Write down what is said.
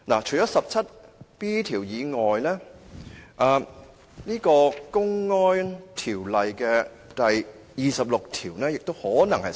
除了第 17B 條以外，《公安條例》第26條亦可能適用。